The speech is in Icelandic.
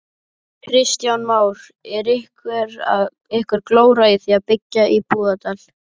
Kristján Már: Einhver glóra í því að byggja í Búðardal?